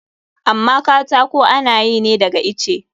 Amma katako ana yi ne daga itace.